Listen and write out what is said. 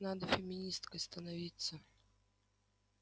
надо феминисткой становиться